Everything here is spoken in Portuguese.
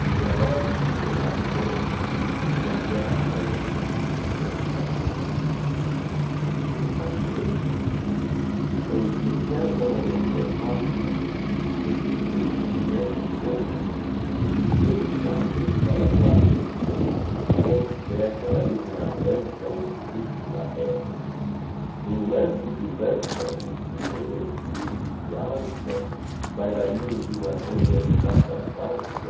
Que os relógios ficam mais lentos Que a cama arranje Que a vida cansa Se um certo perfume em incerta manhã perpassa redescobrimos que o tempo voa e que temos asas para voar nele e que temos fé para ir navante ao empuxo da ré Num lance de lança o cisne ressurge e se alça bailarino de uma reinventada valsa